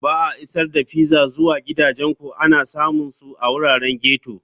Ba a Isar da Pizza zuwa Gidajenku ana samun su a wuraren ghetto.